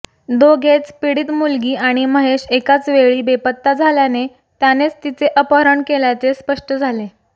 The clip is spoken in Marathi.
दोघेच पीडित मुलगी आणि महेश एकाच वेळी बेपत्ता झाल्याने त्यानेच तिचे अपहरण केल्याचे स्पष्ट झाले